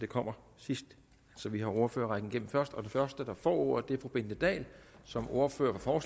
kommer sidst vi har ordførerrækken først og den første der får ordet er fru bente dahl som ordfører for